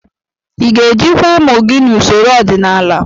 Ị ga-ejikwa ụmụ gị n'usoro ọdịnala?